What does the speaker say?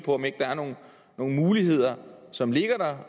om ikke der er nogle muligheder som ligger der